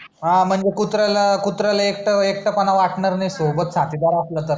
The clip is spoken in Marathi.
हा म्हणजे कुत्रा ला कुत्राला एकट एकट पणा वाटणार नाही सोबत साथी दार असला तर